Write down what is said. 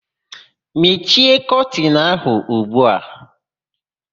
Mechie kọtịnụ áhụ̀ ugbu a!